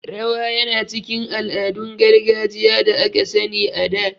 Rawa yana cikin ala'adun gargajiya da aka sani a da